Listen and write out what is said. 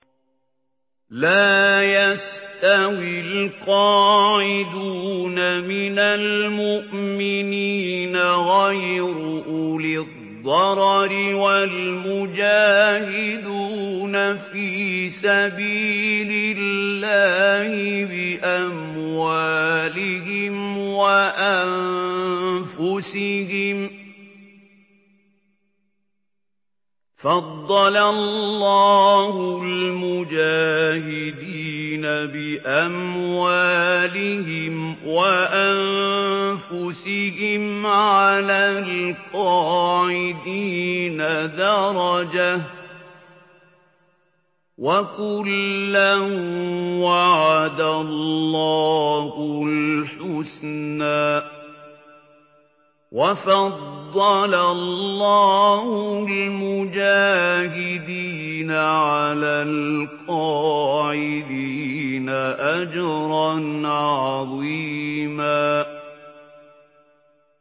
لَّا يَسْتَوِي الْقَاعِدُونَ مِنَ الْمُؤْمِنِينَ غَيْرُ أُولِي الضَّرَرِ وَالْمُجَاهِدُونَ فِي سَبِيلِ اللَّهِ بِأَمْوَالِهِمْ وَأَنفُسِهِمْ ۚ فَضَّلَ اللَّهُ الْمُجَاهِدِينَ بِأَمْوَالِهِمْ وَأَنفُسِهِمْ عَلَى الْقَاعِدِينَ دَرَجَةً ۚ وَكُلًّا وَعَدَ اللَّهُ الْحُسْنَىٰ ۚ وَفَضَّلَ اللَّهُ الْمُجَاهِدِينَ عَلَى الْقَاعِدِينَ أَجْرًا عَظِيمًا